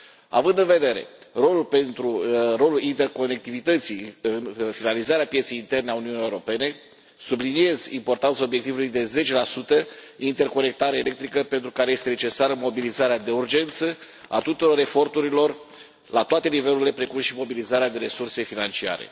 Având în vedere rolul interconectivității în finalizarea pieței interne a Uniunii Europene, subliniez importanța obiectivului de 10 interconectare electrică, pentru care este necesară mobilizarea de urgență a tuturor eforturilor, la toate nivelurile, precum și mobilizarea de resurse financiare.